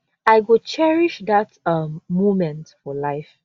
i go cherish dat um moment for life